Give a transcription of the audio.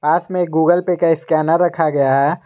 साथ में एक गूगल पेय का स्कैनर रखा हुआ है।